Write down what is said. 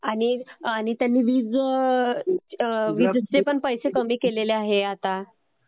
हो आणि आता त्यांनी वीजचे पण पैसे कमी केलेले आहेत आता.